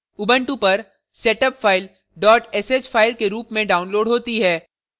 Ubuntu पर setup file sh dot sh file के रूप में downloaded होती है